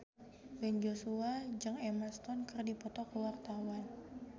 Ben Joshua jeung Emma Stone keur dipoto ku wartawan